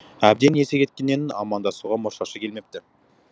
әбден есі кеткеннен амандасуға мұршасы келмепті